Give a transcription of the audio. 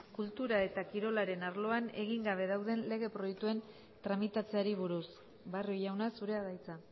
kultura eta kirolaren arloan egin gabe dauden lege proiektuen tramitatzeari buruz barrio jauna zurea da hitza